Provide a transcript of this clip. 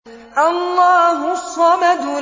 اللَّهُ الصَّمَدُ